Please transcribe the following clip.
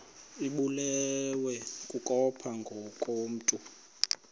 ibulewe kukopha ngokomntu